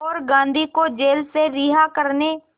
और गांधी को जेल से रिहा करने